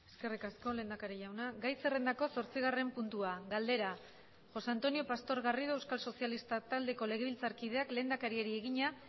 eskerrik asko lehendakari jauna gai zerrendako zortzigarren puntua galdera josé antonio pastor garrido euskal sozialistak taldeko legebiltzarkideak lehendakariari egina